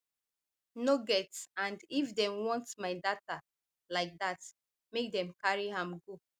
no get and if dem want my data like dat make dem carry am go